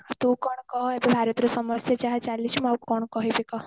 ତୁ କଣ କହ ଭାରତରେ ସମସ୍ଯା ଯାହା ଚାଲିଛି ମୁଁ ଆଉ କଣ କହିବି କହ